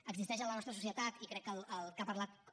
existeix en la nostra societat i crec que el que ha parlat en